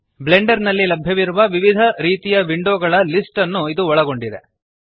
Blender ನಲ್ಲಿ ಲಭ್ಯವಿರುವ ವಿವಿಧ ರೀತಿಯ ವಿಂಡೋ ಗಳ ಲಿಸ್ಟ್ ನ್ನು ಇದು ಒಳಗೊಂಡಿದೆ